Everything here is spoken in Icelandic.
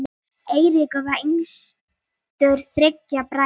Eiríkur var yngstur þriggja bræðra.